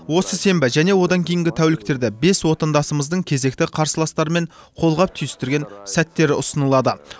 осы сенбі және одан кейінгі тәуліктерде бес отандасымыздың кезекті қарсыластарымен қолғап түйістірген сәттері ұсынылады